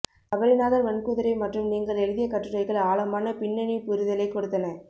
சபரிநாதன் மண்குதிரை மற்றும் நீங்கள் எழுதிய கட்டுரைகள் ஆழமான பின்னணிப்புரிதலை கொடுத்தன